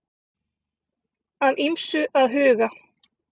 Að ýmsu að huga